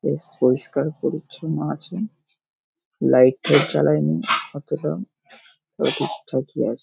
বেশ পরিষ্কার পরিছন্ন আছে লাইট ফাইট জ্বালায়নি অতটা তবে ঠিকঠাকই আছে ।